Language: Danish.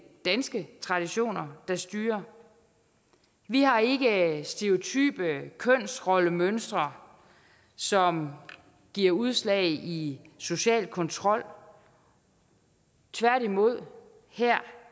danske traditioner der styrer vi har ikke stereotype kønsrollemønstre som giver udslag i social kontrol tværtimod her